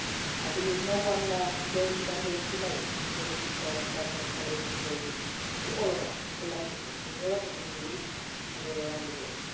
I believe no one today should underestimate the risk that an escalation poses to all of us collectively in Europe, in the Middle East and all around the world.